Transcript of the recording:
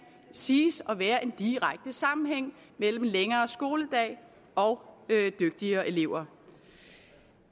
siges at være en direkte sammenhæng mellem længere skoledag og dygtigere elever